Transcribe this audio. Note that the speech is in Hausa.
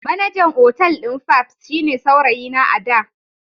Manajan otal din fabs shine saurayina a da.